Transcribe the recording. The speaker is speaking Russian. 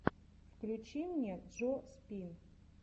включи мне джо спин